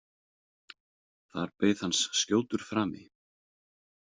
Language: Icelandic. Þar beið hans skjótur frami.